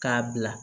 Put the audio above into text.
K'a bila